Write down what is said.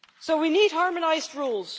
We need harmonised rules.